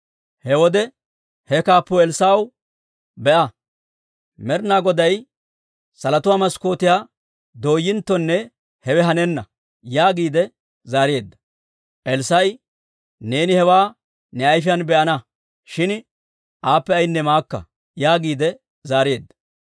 He wode he kaappuu Elssaa'ew, «Be'a, Med'ina Goday salotuwaa maskkootiyaa dooyinttonne hewe hanenna» yaagiide zaareedda. Elssaa'i, «Neeni hewaa ne ayfiyaan be'ana; shin aappe ayinne maakka» yaagiide zaareedda.